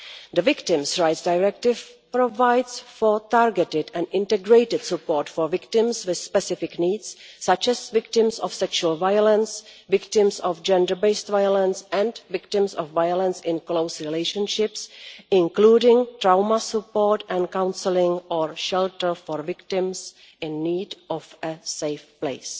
The Victims' Rights Directive provides for targeted and integrated support for victims with specific needs, such as victims of sexual violence, victims of gender-based violence and victims of violence in close relationships, including trauma support and counselling or shelter for victims in need of a safe place.